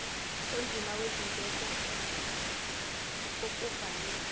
onzima wezindleko okuvame